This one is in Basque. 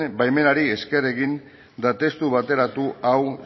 baimenari esker egin eta testu bateratu hau